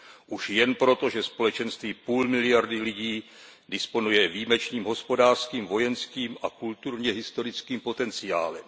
Už jen proto, že společenství půl miliardy lidí disponuje výjimečným hospodářským, vojenským a kulturně historickým potenciálem.